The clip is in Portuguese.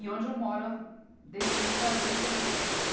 E onde eu moro desde que eu me casei, porque eu falei, chega, né?